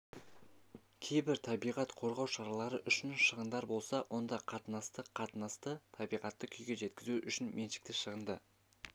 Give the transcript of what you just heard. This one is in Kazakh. кейбір табиғат қорғау шаралары үшін шығындар болса онда қатынасы қатынасы табиғатты күйге жеткізу үшін меншікті шығынды